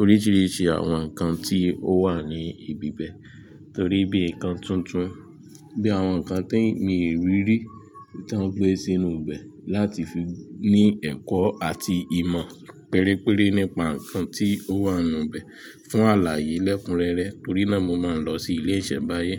oríṣìíríṣìí àwọn nǹkan tí ó wà ní ibi ibẹ̀ torí bí nǹkan tuntun, bí àwọn nǹkan tí mi rí rí tí wọ́n gbé sínú ibẹ̀ láti fi ní ẹ̀kọ́ àti ìmọ̀ pérépere nípa nǹkan tí ó wà nínú ibẹ̀ fún àlàyé lẹ́kunrẹ́rẹ́. Torí náà, mo máa ń lọ sí ilé ìṣẹ̀mbáyé.